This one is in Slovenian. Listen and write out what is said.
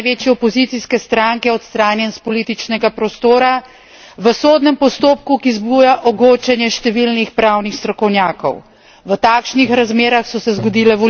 V takšnih razmerah je bil vodja največje opozicijske stranke odstranjen s političnega prostora v sodnem postopku, ki zbuja ogorčenje številnih pravnih strokovnjakov.